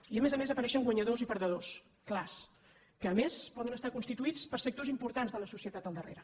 i a més a més apareixen guanyadors i perdedors clars que a més poden estar constituïts per sectors importants de la societat al darrere